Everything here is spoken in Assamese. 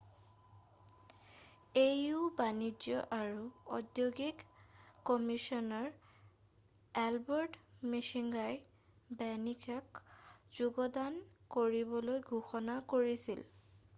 au বাণিজ্য আৰু ঔদ্যোগিক কমিছনাৰ এলবাৰ্ট মোচংগাই বেনিনক যোগদান কৰিবলৈ ঘোষণা কৰিছিল